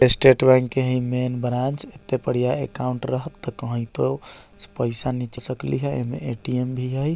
State Bank के हई ई मेन ब्रांच एपे पड़िया अकाउंट रहत त कहीं तो पैसा नीच सकली है। एमे ए.टी.एम. भी हई।